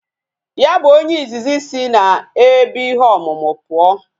Ya bu onye izizi isi na ebe ihe omumu puo